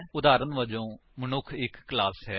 ਉਦਾਹਰਨ ਵਜੋਂ ਮਨੁੱਖ ਇੱਕ ਕਲਾਸ ਹੈ